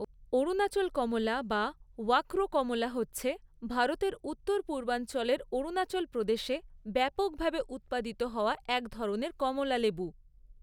অরুণাচল কমলা বা ওয়াক্ৰো কমলা হচ্ছে ভারতের উত্তর পূর্বাঞ্চলের অরুণাচল প্রদেশে ব্যাপকভাবে উৎপাদিত হওয়া একধরনের কমলালেবু।